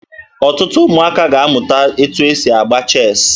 Ọtụtụ ụmụaka ga-amụta etu e si agba cheesi